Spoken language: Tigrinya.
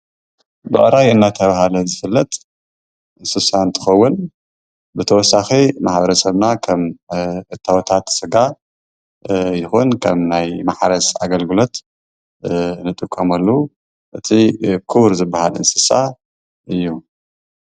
ብዕራይ እናተባህለ ዝፍለጥ እንስሳ እንትኸውን ብተወሳኺ ማሕበረሰብና ከም እተውታት ስጋ ይኹን ከም ናይ ማሕረስ ኣገልግሎት ንጥቀመሉ እቲ ክቡር ዝበሃል እንስሳ እዩ።